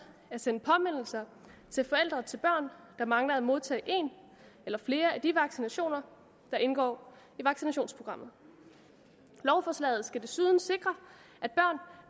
at sende påmindelser til forældre til børn der mangler at modtage en eller flere af de vaccinationer der indgår i vaccinationsprogrammet lovforslaget skal desuden sikre